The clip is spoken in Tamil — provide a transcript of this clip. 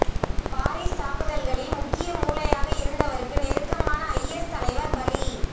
பாரீஸ் தாக்குதல்களின் முக்கிய மூளையாக இருந்தவருக்கு நெருக்கமான ஐஎஸ் தலைவர் பலி